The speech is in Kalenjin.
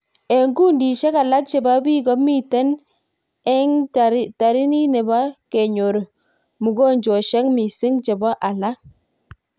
Ek kundishek alak cheboo biik komitek eghatarinit cheboo konyor mugojweshek misik cheboo alak.